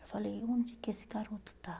Eu falei, onde que esse garoto está?